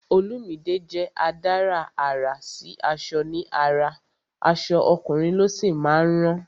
Olumide jẹ́ adárà àrà sí aṣọ ní ara, aṣọ ọkùnrin ló sì máa ń rán